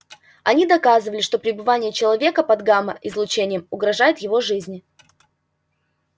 они доказывали что пребывание человека под гамма-излучением угрожает его жизни